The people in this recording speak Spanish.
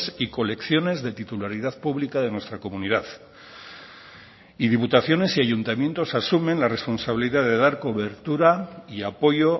y colecciones de titularidad pública de nuestra comunidad y diputaciones y ayuntamientos asumen la responsabilidad de dar cobertura y apoyo